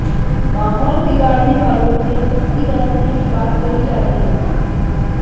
माहौल बिगाड़ने वालों से सख्ती बरतने की बात कही जा रही है